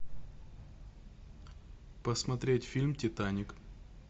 посмотреть фильм титаник